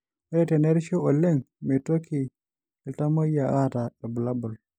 Ore tenerishu oleng meitoki iltamoyia aata irbulabol